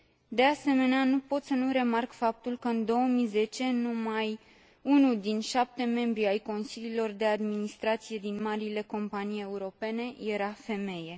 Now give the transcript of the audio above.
De asemenea, nu pot să nu remarc faptul că, în 2010, numai unul din șapte membri ai consiliilor de administrație din marile companii europene era femeie.